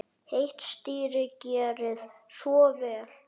Heitt stýri, gerið svo vel.